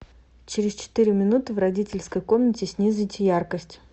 через четыре минуты в родительской комнате снизить яркость